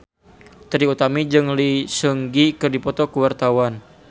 Trie Utami jeung Lee Seung Gi keur dipoto ku wartawan